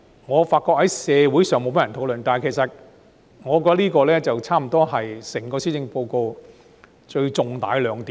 我發覺這一點在社會上沒有多少人討論，但我認為這差不多是整份施政報告最大的亮點。